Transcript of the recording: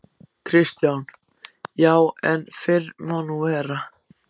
KRISTJÁN: Já, en. fyrr má nú vera.